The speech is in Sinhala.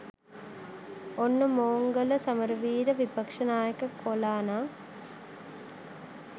ඔන්න මෝංගල සමරවීර විපක්ෂ නායක කොලානං